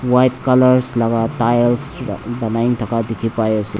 white colours laga tiles banai na taka diki pai asae.